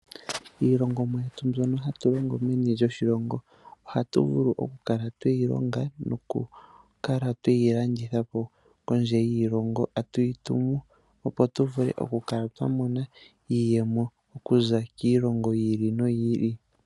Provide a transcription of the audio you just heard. Iilongomwa yetu mbyono hatu longo meni lyoshilongo ohatu vulu okukala tweyilongo noku kala tweyi landithapo kondje yiilongo. Atu yi tumu opo tuvule okukala twamona iiyemo okuza kiilongo yi ili noyi ili.